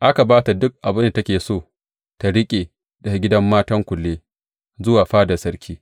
Aka ba ta duk abin da take so ta riƙe daga gidan matan kulle zuwa fadar sarki.